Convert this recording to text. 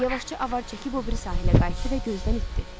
Yavaşca avar çəkib o biri sahilə qayıtdı və gözdən itdi.